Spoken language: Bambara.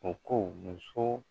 O ko muso